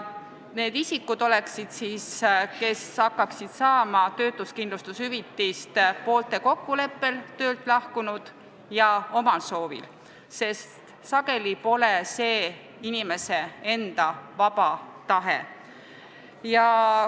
Need isikud, kes hakkaksid saama töötuskindlustushüvitist, oleksid poolte kokkuleppel ja ka omal soovil töölt lahkunud, sest sageli pole see inimese enda vaba tahe.